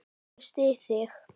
Ég styð þig.